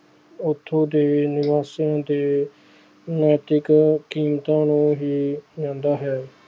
ਉੱਥੋਂ ਦੇ ਨਿਵਾਸੀਆਂ ਦੇ ਨੈਤਿਕ ਕੀਮਤਾਂ ਨੂੰ ਹੀ ਜਾਂਦਾ ਹੈ।